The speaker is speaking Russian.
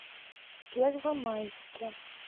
первомайске